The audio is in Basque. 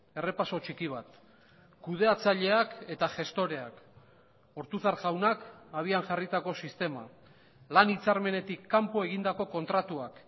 errepaso txiki bat kudeatzaileak eta gestoreak ortuzar jaunak abian jarritako sistema lan hitzarmenetik kanpo egindako kontratuak